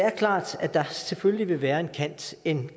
er klart at der selvfølgelig vil være en kant en